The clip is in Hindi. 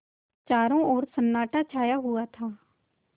चारों ओर सन्नाटा छाया हुआ था